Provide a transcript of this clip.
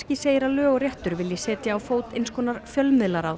segir að lög og réttur vilji setja á fót eins konar fjölmiðlaráð